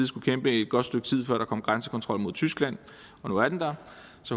skulle kæmpe et godt stykke tid før der kom grænsekontrol mod tyskland og nu er den der